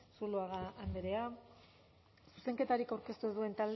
zuloaga andrea zuzenketarik aurkeztu ez duten